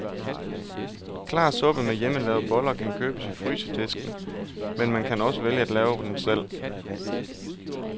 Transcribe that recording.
Klar suppe med hjemmelavede boller kan købes i frysedisken, men man kan også vælge at lave den selv.